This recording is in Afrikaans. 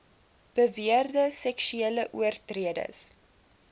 beweerde seksuele oortreders